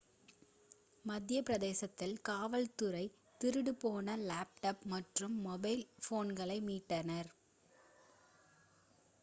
மத்தியப் பிரதேசத்தில் காவல் துறை திருடு போன லேப்டாப் மற்றும் மொபைல் ஃபோனை மீட்டனர்